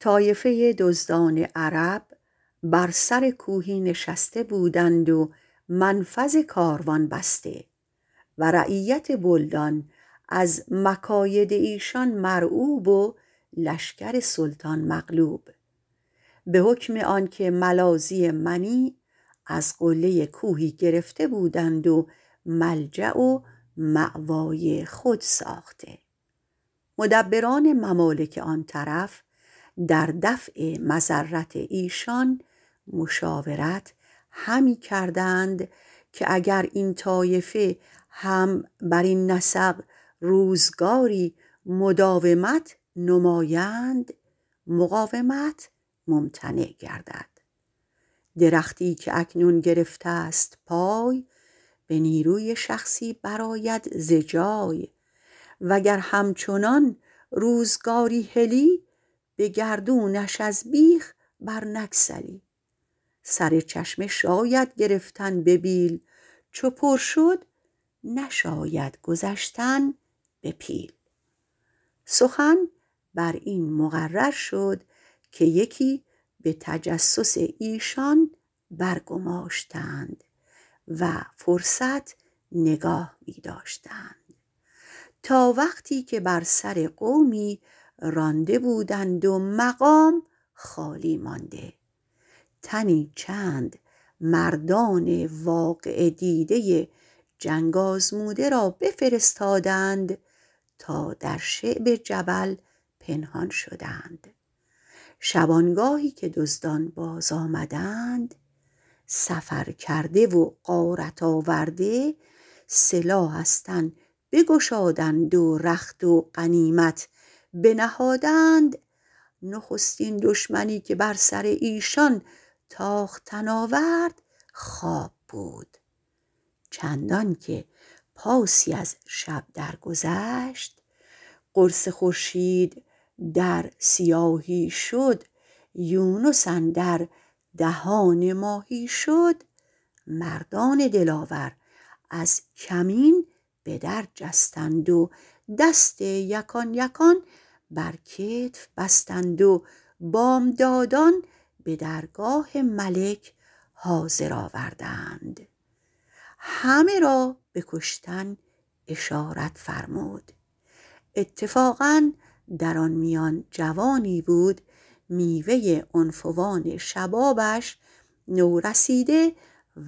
طایفه دزدان عرب بر سر کوهی نشسته بودند و منفذ کاروان بسته و رعیت بلدان از مکاید ایشان مرعوب و لشکر سلطان مغلوب به حکم آنکه ملاذی منیع از قله کوهی گرفته بودند و ملجأ و مأوای خود ساخته مدبران ممالک آن طرف در دفع مضرت ایشان مشاورت همی کردند که اگر این طایفه هم برین نسق روزگاری مداومت نمایند مقاومت ممتنع گردد درختی که اکنون گرفته ست پای به نیروی شخصی برآید ز جای و گر همچنان روزگاری هلی به گردونش از بیخ بر نگسلی سر چشمه شاید گرفتن به بیل چو پر شد نشاید گذشتن به پیل سخن بر این مقرر شد که یکی به تجسس ایشان برگماشتند و فرصت نگاه می داشتند تا وقتی که بر سر قومی رانده بودند و مقام خالی مانده تنی چند مردان واقعه دیده جنگ آزموده را بفرستادند تا در شعب جبل پنهان شدند شبانگاهی که دزدان باز آمدند سفرکرده و غارت آورده سلاح از تن بگشادند و رخت و غنیمت بنهادند نخستین دشمنی که بر سر ایشان تاختن آورد خواب بود چندان که پاسی از شب در گذشت قرص خورشید در سیاهی شد یونس اندر دهان ماهی شد مردان دلاور از کمین به در جستند و دست یکان یکان بر کتف بستند و بامدادان به درگاه ملک حاضر آوردند همه را به کشتن اشارت فرمود اتفاقا در آن میان جوانی بود میوه عنفوان شبابش نورسیده